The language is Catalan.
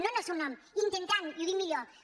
no en el seu nom intentant i ho dic millor